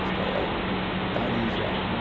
Ele já está está ali já, né?